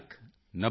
90 lakh